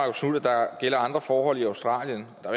der gælder andre forhold i australien der